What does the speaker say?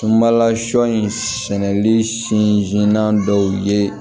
Tunbala sɔ in sɛnɛli sinan dɔw ye